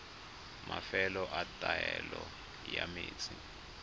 mafelo a taolo ya metsi